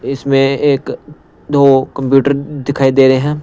इसमें एक दो कंप्यूटर दिखाई दे रहे हैं।